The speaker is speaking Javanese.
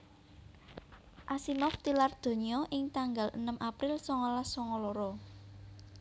Asimov tilar donya ing tanggal enem April songolas songo loro